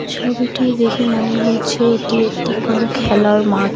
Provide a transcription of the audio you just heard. ছবিটি দেখে মনে হয়েছে এটি একটি কোনো খেলার মাঠ।